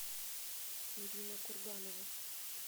ирина курганова